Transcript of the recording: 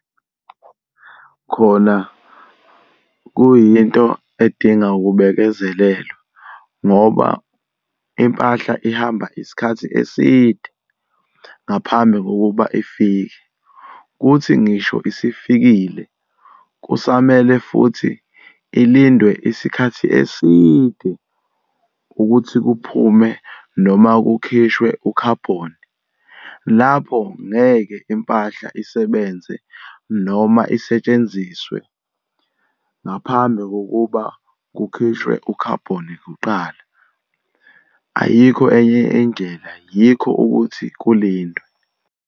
Khona kuyinto edinga ukubekezelelwa, ngoba impahla ihamba isikhathi eside ngaphambi kokuba ifike. Kuthi ngisho isifikile, kusamele futhi ilindwe isikhathi eside, ukuthi kuphume noma kukhishwe ukhabhoni. Lapho ngeke impahla isebenze noma isetshenziswe ngaphambi kokuba kukhishwe ukhabhoni kuqala. Ayikho enye indlela, yikho ukuthi kulindwe.